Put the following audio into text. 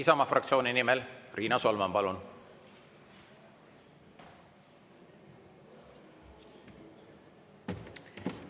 Isamaa fraktsiooni nimel Riina Solman, palun!